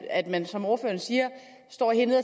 at man som ordføreren siger står hernede